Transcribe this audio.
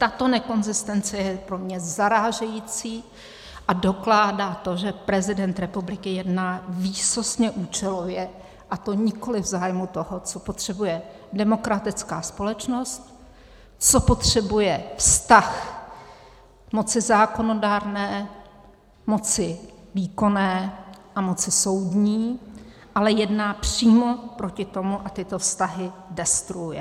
Tato nekonzistence je pro mě zarážející a dokládá to, že prezident republiky jedná výsostně účelově, a to nikoliv v zájmu toho, co potřebuje demokratická společnost, co potřebuje vztah moci zákonodárné, moci výkonné a moci soudní, ale jedná přímo proti tomu a tyto vztahy destruuje.